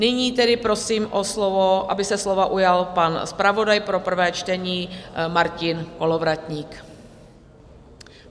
Nyní tedy prosím o slovo, aby se slova ujal pan zpravodaj pro prvé čtení Martin Kolovratník.